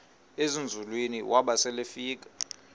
ezinzulwini waba selefika